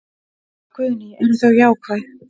Guðný: Eru þau jákvæð?